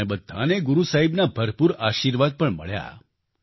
આપણને બધાને ગુરુ સાહેબના ભરપૂર આશિર્વાદ પણ મળ્યા